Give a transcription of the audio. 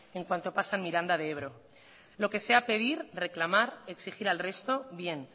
en cuanto pasan miranda de ebro lo que sea pedir reclamar exigir al resto bien